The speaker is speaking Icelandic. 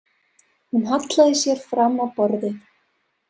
Hún hallaði sér fram á borðið.